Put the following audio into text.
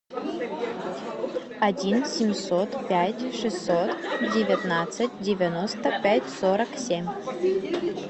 один семьсот пять шестьсот девятнадцать девяносто пять сорок семь